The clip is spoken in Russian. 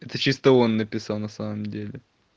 это чисто он написал на самом деле